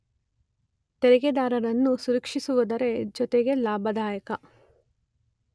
ತೆರಿಗೆದಾರರನ್ನೂ ಸಂರಕ್ಷಿಸುವುದರ ಜೊತೆಗೆ ಲಾಭದಾಯಕ